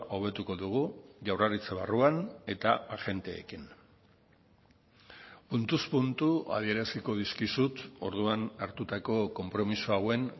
hobetuko dugu jaurlaritza barruan eta agenteekin puntuz puntu adieraziko dizkizut orduan hartutako konpromiso hauen